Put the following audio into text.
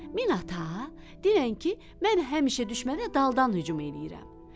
Min ata, denən ki, mən həmişə düşmənə daldan hücum eləyirəm.